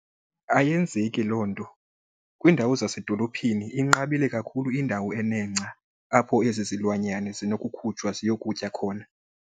Ayenzeki loo nto. Kwiindawo zasedolophini inqabile kakhulu indawo enengca apho ezi zilwanyana zinokukhutshwa ziyokutya khona.